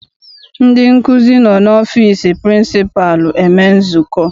Ndị nkụzi nọ n'ọfịịsi pịrịnsịpalụ eme nzukọ.